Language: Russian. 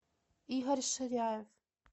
игорь ширяев